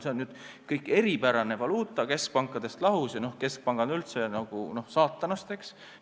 See on kõik eripärane valuuta, keskpankadest lahus, ja keskpangad on üldse ju saatanast, eks!